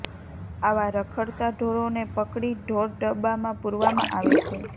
આવા રખડતા ઢોરોને પકડી ઢોર ડબ્બામાં પુરવામાં આવે છે